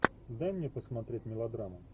дай мне посмотреть мелодраму